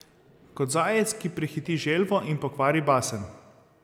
Kot zajec, ki prehiti želvo in pokvari basen.